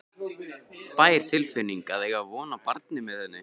bær tilfinning að eiga von á barni með henni.